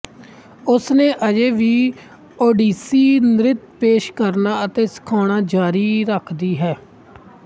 ਉਸਨੇ ਅਜੇ ਵੀ ਓਡੀਸੀ ਨ੍ਰਿਤ ਪੇਸ਼ ਕਰਨਾ ਅਤੇ ਸਿਖਾਉਣਾ ਜਾਰੀ ਰੱਖਦੀ ਹੈ